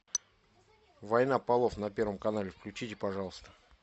война полов на первом канале включите пожалуйста